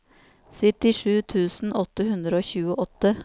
syttisju tusen åtte hundre og tjueåtte